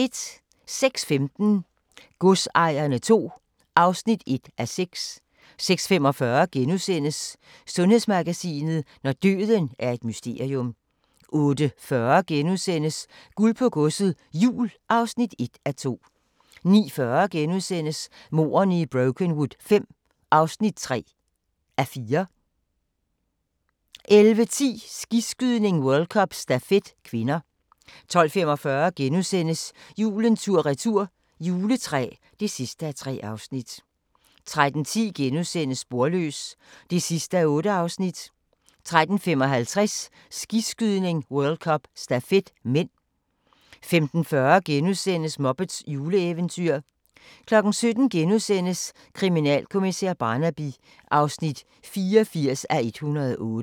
06:15: Godsejerne II (1:6) 06:45: Sundhedsmagasinet: Når døden er et mysterium * 08:40: Guld på Godset, Jul (1:2)* 09:40: Mordene i Brokenwood V (3:4)* 11:10: Skiskydning: World Cup - stafet (k) 12:45: Julen tur-retur – juletræ (3:3)* 13:10: Sporløs (8:8)* 13:55: Skiskydning: World Cup - stafet (m) 15:40: Muppets juleeventyr * 17:00: Kriminalkommissær Barnaby (84:108)*